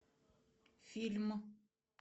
фильм